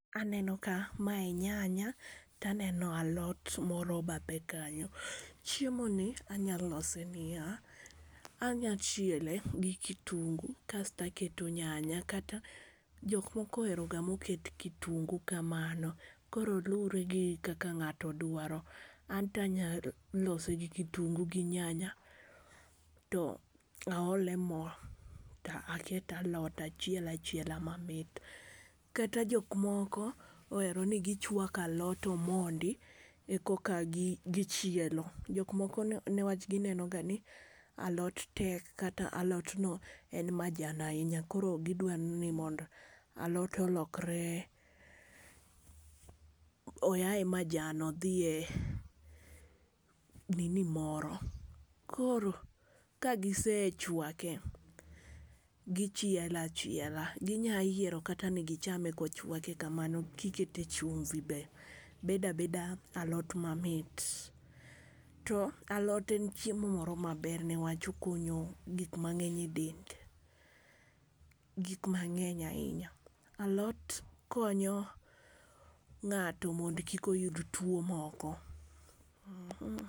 Aneno ka mae nyanya to aneno alot moro ebathe kanyo. Chiemoni anyalo lose niya, anya chiele gi kitungu kasto aketo nyanya kata ka jok moko ohero ga moket kitungu kamani koro luwore gi kaka ng'ato dwaro. Anto anyalo lose gi kitungu gi nyanya to aole mo to aket alot to achiel achiela mamit. Kata jok moko ohero ni gichuak a lot komondi e koka gichielo. Jok moko newach gineno ga ni alot tek kata ni alotno en majan ahinya koro gidwaroga ni alot olokre. Oa e majan odhi e nini moro. Koro ka gisechuake to gichielo achiela, ginya yiero ni gichame kochuake kamano gikete chumbi be bedo abeda alot mamit. To alot en chiemo moro maber newach okonyo gik mang'eny edel, gik mang'eny ahinya. Alot konyo ng'ato mondo kik oyud tuo moro.